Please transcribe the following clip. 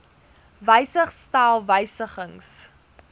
wysig stel wysigings